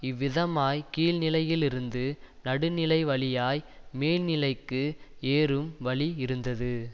இவ்விதமாய்க் கீழ்நிலையிலிருந்து நடுநிலைவழியாய் மேல்நிலைக்கு ஏறும் வழியிருந்தது